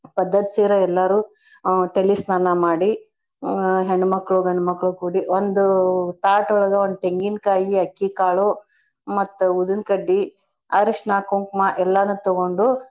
ಪದ್ದತ್ ಸೀರ ಎಲ್ಲಾರೂ ಆ ತಲಿ ಸ್ನಾನ ಮಾಡಿ ಆ ಹೆಣ್ಮಕ್ಳು ಗಂಡ್ಮಕ್ಳು ಕೂಡಿ ಒಂದು ತಾಟ್ ಒಳಗ ಒಂದ್ ತೆಂಗಿನ್ಕಾಯಿ ಅಕ್ಕಿ ಕಾಳು ಮತ್ತ್ ಉದ್ದನ್ಕಡ್ಡಿ ಅರಶ್ನ ಕುಂಕ್ಮ ಎಲ್ಲಾನೂ ತಗೊಂಡು.